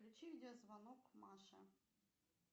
включи видеозвонок маше